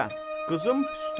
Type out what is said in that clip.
Qızım Püstə.